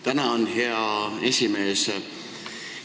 Tänan, hea esimees!